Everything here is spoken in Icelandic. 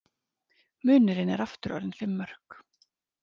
Munurinn er aftur orðinn fimm mörk